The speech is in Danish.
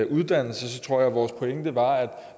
uddannelse tror jeg at vores pointe var at